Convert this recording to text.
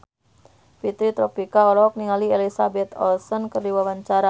Fitri Tropika olohok ningali Elizabeth Olsen keur diwawancara